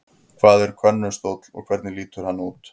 Hvað er könnustóll og hvernig lítur hann út?